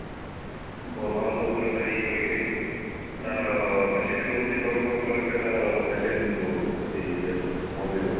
Berhampur collector ଇଏ କରିକିରି ତାର president ହଉଛି ବରହମପୁର collector ତାର president ରହୁଛନ୍ତି ସିଏ ଇଏର ମନ୍ଦିର ର